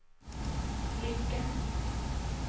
lykke